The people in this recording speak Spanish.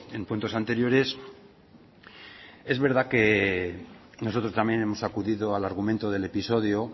en cuentos anteriores es verdad que nosotros también hemos acudido al argumento del episodio